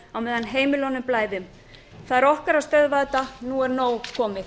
á meðan heimilunum blæðir það okkar að stöðva þetta nú er nóg komið